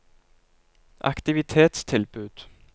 aktivitetstilbud